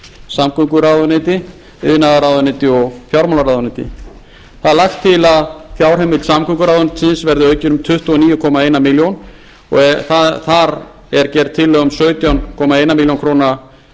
samgönguráðuneyti iðnaðarráðuneyti og fjármálaráðuneyti það er lagt til að fjárheimild samgönguráðuneytisins verði aukin um tuttugu og einn komma níu milljónir króna þar er gerð tillaga um sautján komma eina milljón króna